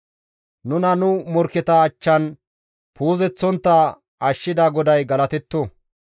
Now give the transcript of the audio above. Nuna nu morkketa achchan puuzisontta ashshida GODAY galatetto.